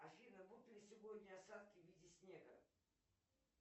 афина будут ли сегодня осадки в виде снега